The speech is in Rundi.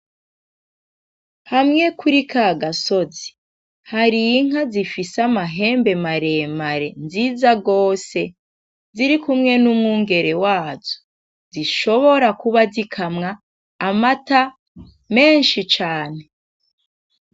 Hamwe kuri kagasozi, hari inka zifise amahembe maremare nziza gose zirikumwe n'umwungere wazo zishobora kuba zikamwa amata menshi cane.